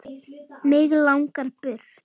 Mig langar burt.